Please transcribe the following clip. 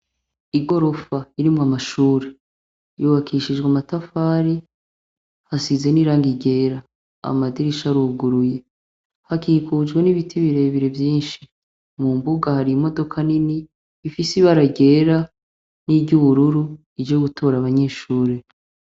Igorofa irimwo amashure, yubakishijwe amatafari hasize n'irangi ryera amadirisha aruguruye hakikujwe n'ibiti birebire vyinshi, mu mbuga hari imodoka nini ifise ibara ryera n'iry'ubururu ije gutora abanyeshure.